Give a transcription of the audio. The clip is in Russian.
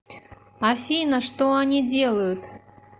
афина что они делают